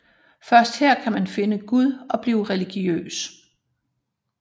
Først her kan man finde Gud og blive religiøs